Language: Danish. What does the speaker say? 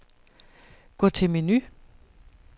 Gå til menu.